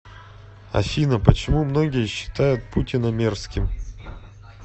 афина почему многие считают путина мерзким